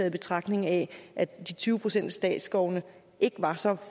i betragtning at at de tyve procent af statsskovene ikke var så